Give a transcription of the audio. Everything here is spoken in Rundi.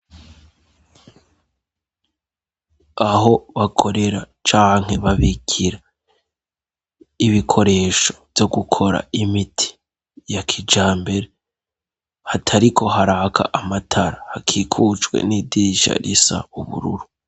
Aho bakorera canke babigira ibikoresho vyo gukora imiti ya kijambere hatariko haraka amatara hakikujwe n'idirisha risa ubururu.